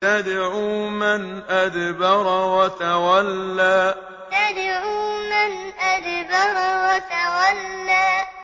تَدْعُو مَنْ أَدْبَرَ وَتَوَلَّىٰ تَدْعُو مَنْ أَدْبَرَ وَتَوَلَّىٰ